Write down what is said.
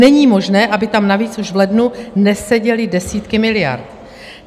Není možné, aby tam navíc už v lednu neseděly desítky miliard.